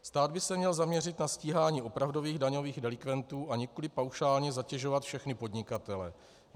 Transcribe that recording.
Stát by se měl zaměřit na stíhání opravdových daňových delikventů, a nikoli paušálně zatěžovat všechny podnikatele.